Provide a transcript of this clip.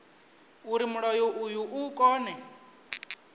uri mulayo uyu u kone